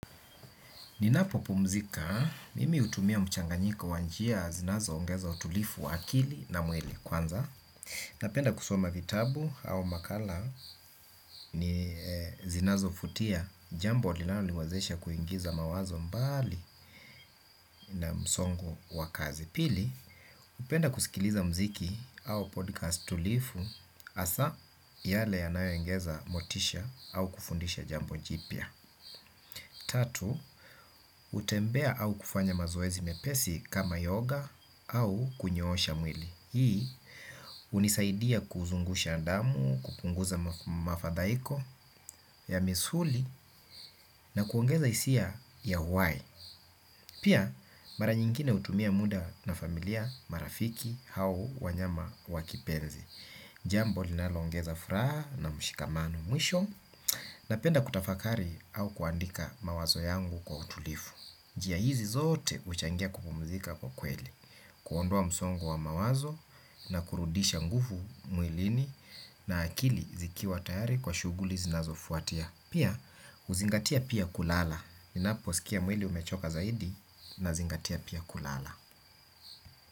Ninapopumzika, mimi hutumia mchanganyiko wa njia zinazoongeza utulifu wa akili na mwili. Kwanza napenda kusoma vitabu au makala ni zinazofutia, jambo linaloniwezesha kuingiza mawazo mbali na msongo wa kazi. Pili, hupenda kusikiliza mziki au podcast tulifu hasa yale yanayoongeza motisha au kufundisha jambo jipya. Tatu, hutembea au kufanya mazoezi mepesi kama yoga au kunyoosha mwili. Hii, hunisaidia kuzungusha damu, kupunguza mafadhaiko ya misuli na kuongeza hisia ya uhai. Pia, mara nyingine hutumia muda na familia, marafiki au wanyama wa kipenzi. Jambo linaloongeza furaha na mshikamano. Mwisho, napenda kutafakari au kuandika mawazo yangu kwa utulifu. Njia hizi zote huchangia kupumzika kwa kweli, kuondoa msongo wa mawazo na kurudisha ngufu mwilini na akili zikiwa tayari kwa shughuli zinazofuatia. Pia, huzingatia pia kulala. Ninaposikia mwili umechoka zaidi nazingatia pia kulala.